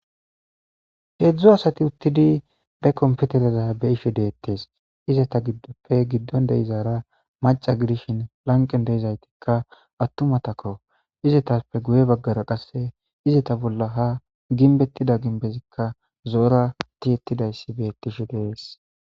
heedzdzu asati uttidi be komputereza be ishe deettes izata giddoppe giddon de7izaara maca gidishin lanqen deizaytikka attumatako izetape guye baggara qasse izeta bolla ha ginbettida ginbezikka zoora tiettidayssi bettishe dees